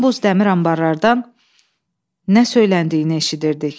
Bumbuz dəmir anbarlardan nə söyləndiyini eşidirdik.